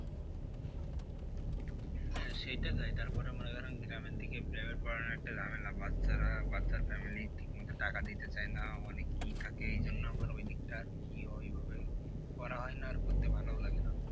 হ্যাঁ সেটা যায় তারপরে মনে করেন গ্রামের দিকে private পড়ানো একটা ঝামেলা বাচ্চারা বাচ্চার family ঠিক মতো টাকা দিতে চায় না অনেকেই থাকে এই জন্য আমার ওই দিকটা কি ওই ভাবে করা হয় না আর করতে ভালোও লাগে না।